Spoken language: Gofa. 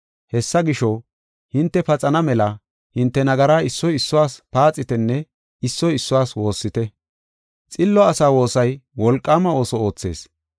Hessa gisho, hinte paxana mela hinte nagara issoy issuwas paaxitenne issoy issuwas woossite. Xillo asa woosay wolqaama ooso oothees.